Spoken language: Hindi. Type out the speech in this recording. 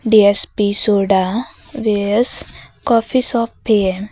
डी_एस_पी सोडा कॉफी शॉप भी है।